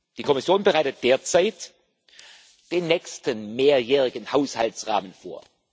Die Kommission bereitet derzeit den nächsten mehrjährigen Haushaltsrahmen vor.